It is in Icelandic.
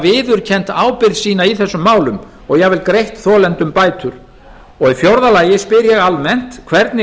viðurkenna ábyrgð sína í málinu og jafnvel greitt þolendum bætur fjórða hvernig